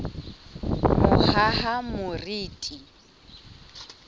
mohahamoriti